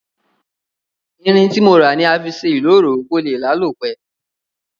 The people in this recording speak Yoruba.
Irin tí mo rà ni a fi sé ìloro ko lé lálò pe